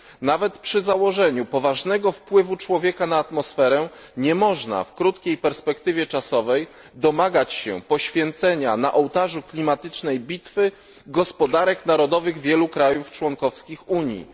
Nawet przy założeniu poważnego wpływu człowieka na atmosferę nie można w krótkiej perspektywie czasowej domagać się poświęcenia na ołtarzu klimatycznej bitwy gospodarek narodowych wielu krajów członkowskich Unii.